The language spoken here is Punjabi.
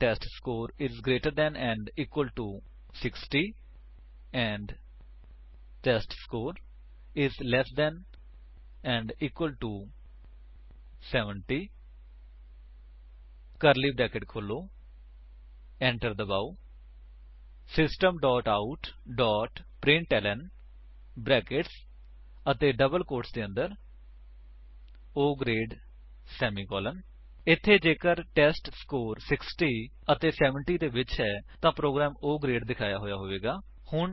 ਟੈਸਟਸਕੋਰ ਇਜ ਗਰੇਟਰ ਦੇਨ ਅਤੇ equal to 60 and test score is less than ਅਤੇ ਇਕਵਲ ਟੂ 70 ਕਰਲੀ ਬਰੈਕੇਟਸ ਖੋਲੋ ਐਂਟਰ ਦਬਾਓ system dot out dot println brackets ਅਤੇ ਡਬਲ ਕੋਟਸ ਦੇ ਅੰਦਰ O ਗਰੇਡ ਸੇਮੀਕੋਲਨ ਇੱਥੇ ਜੇਕਰ ਟੈਸਟਸਕੋਰ 60 ਅਤੇ 70 ਦੇ ਵਿੱਚ ਹੈ ਤਾਂ ਪ੍ਰੋਗਰਾਮ O ਗਰੇਡ ਦਿਖਾਇਆ ਹੋਇਆ ਹੋਵੇਗਾ